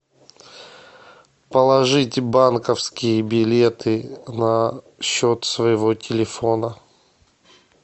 положить банковские билеты на счет своего телефона